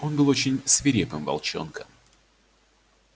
он был очень свирепым волчонком